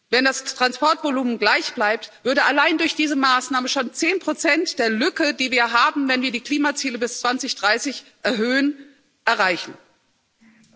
Wenn das Transportvolumen gleichbleibt, würden allein durch diese Maßnahme schon zehn Prozent der Lücke, die wir haben, wenn wir die Klimaziele bis 2030 erhöhen, erreicht werden.